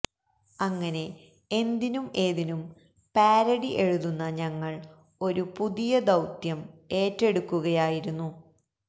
അങ്ങനെ എന്തിനും ഏതിനും പാരഡി എഴുതുന്ന ഞങ്ങള് ഒരു പുതിയ ദൌത്യം ഏറ്റെടുക്കുകയായിരുന്നു